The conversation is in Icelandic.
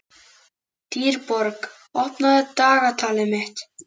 Dýrborg, opnaðu dagatalið mitt.